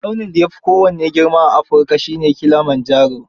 Tsaunin da ya fi kowanne girma a Africa shi ne Kilimanjaro